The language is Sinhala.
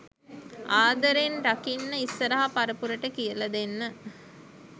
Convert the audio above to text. ආදරෙන් රකින්න ඉස්සරහ පරපුරට කියල දෙන්න